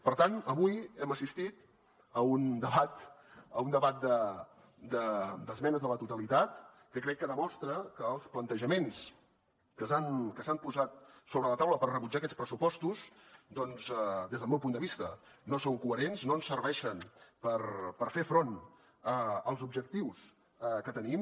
per tant avui hem assistit a un debat d’esmenes a la totalitat que crec que demostra que els plantejaments que s’han posat sobre la taula per rebutjar aquests pressupostos des del meu punt de vista no són coherents no ens serveixen per fer front als objectius que tenim